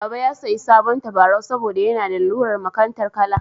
Baba ya sayi sabon tabarau saboda yana da lalurar makantar kala.